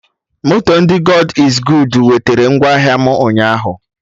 Moto ndị God iz goodu wetera ngwa ahịa m ụnyaahụ